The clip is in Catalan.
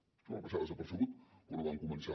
això va passar desapercebut quan ho vam començar